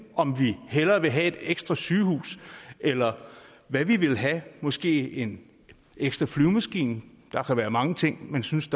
om vi hellere vil have et ekstra sygehus eller hvad vi vil have måske en ekstra flyvemaskine der kan være mange ting man synes